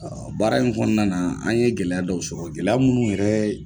Baara in kɔnɔnana an ye gɛlɛya dɔw sɔgɔ gɛlɛya minnu yɛrɛ